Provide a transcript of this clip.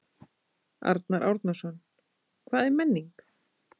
Arnar Árnason: Hvað er menning?